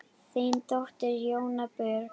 Þín dóttir, Jóna Björg.